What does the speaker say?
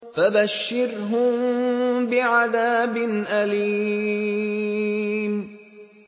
فَبَشِّرْهُم بِعَذَابٍ أَلِيمٍ